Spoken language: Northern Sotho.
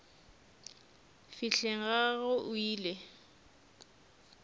fihleng ga gagwe o ile